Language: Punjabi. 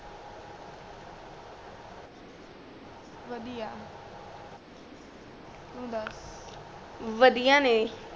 ਬਦਿਆ ਤੂੰ ਦਸ ਬਦਿਆ ਨੇ